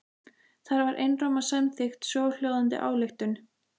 Þar var einróma samþykkt svohljóðandi ályktun